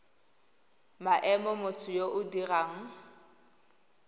maemo motho yo o dirang